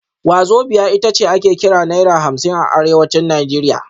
Wazobia ita ce ake kira Naira hamsin a Arewacin Najeriya